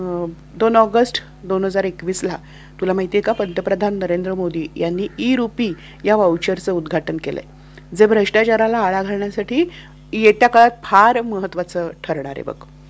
दोन ऑगस्ट दोन हजार एकवीसला तुला माहीत आहे का पंतप्रधान नरेंद्र मोदी यांनी ई रूपी या व्हावुचर च उद्घाटन केल ज्याने भ्रष्टाचाराला आळा घालण्यासाठी येत्या काळात फार महत्वाचा ठरणार आहे.